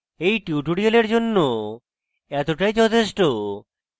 এই tutorial জন্য এতটাই যথেষ্ট